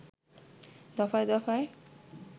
দফায় দফায়